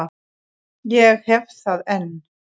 Ég hef það enn.